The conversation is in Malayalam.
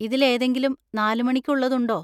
ഇതിൽ ഏതെങ്കിലും നാല് മണിക്ക് ഉള്ളതുണ്ടോ?